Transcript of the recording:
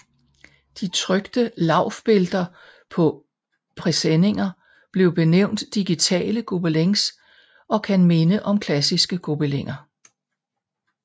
De trykte Laufbilder på presseninger bliver benævnt digitale Gobelins og kan minde om klassiske gobeliner